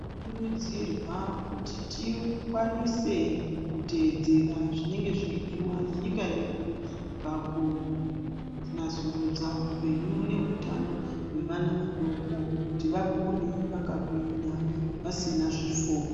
Tino kurudzirwa kuti tikwanise ku tedzera zvinenge zvei diwa ne nyika yedu paku nasurudza hupenyu ne hutano hwe vana vadoko kuti vakure vaka ngwinya vasina zvifo.